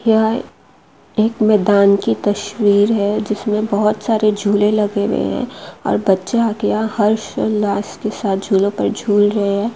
यह एक मैदान की तस्वीर हैं जिसमें बहोत सारे झूले लगे हुए हैं और बच्चा हर्ष उल्लास के साथ झूला पर झूल रहा हैं ।